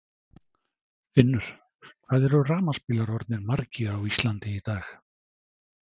Finnur: Hvað eru rafmagnsbílar orðnir margir á Íslandi í dag?